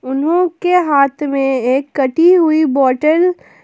उन्हों के हाथ में एक कटी हुई बॉटल --